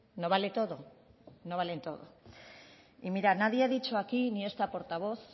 no vale todo no vale todo y mira nadie ha dicho aquí ni esta portavoz